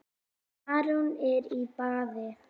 Arnór er í baði